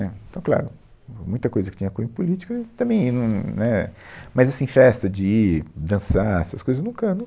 Né, Então, claro, muita coisa que tinha cunho político, eu também ia, num né... Mas, assim, festa de ir dançar, essas coisas, eu nunca, nunca